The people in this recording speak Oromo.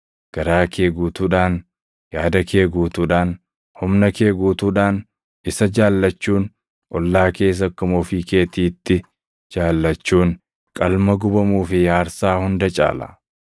Garaa kee guutuudhaan, yaada kee guutuudhaan, humna kee guutuudhaan isa jaallachuun, ollaa kees akkuma ofii keetiitti jaallachuun, qalma gubamuu fi aarsaa hunda caala.”